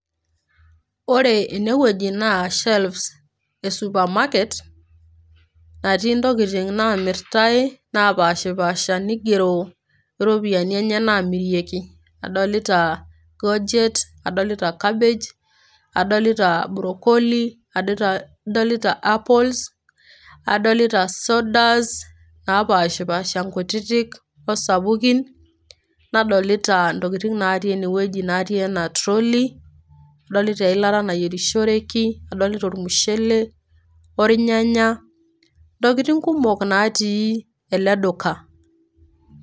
Ore ene wueji naa shelves e supermaket ,natiii intokitin namirtae netii ntokitin napashpasha ,nigero iropiyiani enye namirieki .Adolita goet, adolita cabbage ,adolita brocoli , adolita apples ,adolita sodas napashpasha nkutitik osapukin , nadolita ntokitin natii ene wueji natii trolley ,adolita eilata nayierishoreki , adolita ormushele, ornyanya , ntokitin kumok natii ele duka.